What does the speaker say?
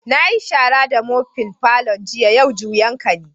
Na yi shara da mofin' falon jiya, yau juyan ka ne.